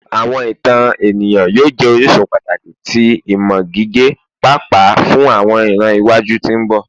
Awọn itan eniyan yoo jẹ orisun pataki ti imọ gige paapaa fun awọn iran iwaju ti mbọ